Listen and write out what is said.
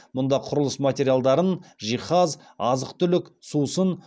мұнда құрылыс материалдарын жиһаз азық түлік сусын